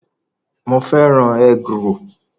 Mo fẹ́ràn egg-roll